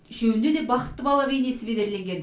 үшеуінде де бақытты бала бейнесі безерленген